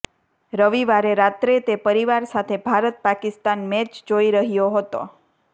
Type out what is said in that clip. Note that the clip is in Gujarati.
રવિવારે રાત્રે તે પરિવાર સાથે ભારત પાકિસ્તાન મેચ જોઈ રહ્યો હતો